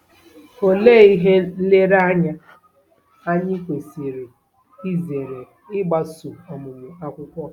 Olee ihe nlereanya anyị kwesịrị izere ịgbaso ọmụmụ akwụkwọ?